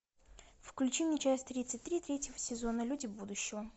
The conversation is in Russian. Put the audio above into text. включи мне часть тридцать три третьего сезона люди будущего